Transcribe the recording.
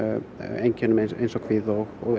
einkennum kvíða og